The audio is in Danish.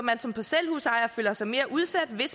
er som